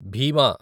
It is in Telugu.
భీమా